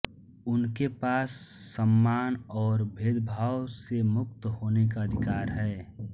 उनके पास सम्मान और भेदभाव से मुक्त होने का अधिकार है